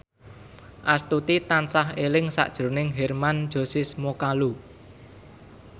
Astuti tansah eling sakjroning Hermann Josis Mokalu